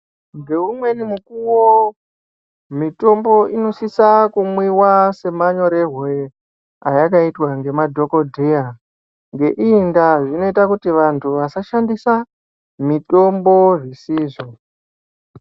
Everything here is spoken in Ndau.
Ngeumweni mukuwo mitombo inosisa kumwiwa semanyorerwe ayakaiwa ngemadhokodheya ngeiyi ndaa zvinoita kuti vantu vasashandisa mitombo zvisizvo.